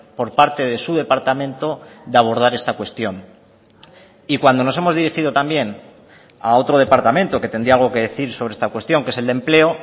por parte de su departamento de abordar esta cuestión y cuando nos hemos dirigido también a otro departamento que tendría algo que decir sobre esta cuestión que es el de empleo